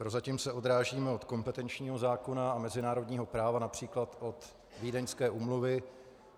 Prozatím se odrážíme od kompetenčního zákona a mezinárodního práva, například od Vídeňské úmluvy.